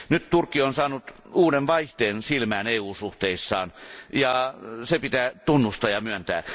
Nyt Turkki on saanut uuden vaihteen silmään EU suhteissaan, se pitää tunnustaa ja myöntää.